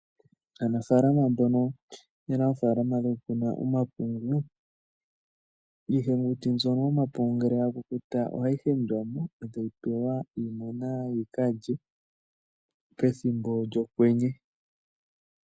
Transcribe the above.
Aanafalama mbono ye na oofaalama dhokukuna omapungu, iihenguti mbyono yomapungu ngele ya kukuta ohayi hendwa mo e tayi pewa iimuna yi ka lye pethimbo lyokwenye.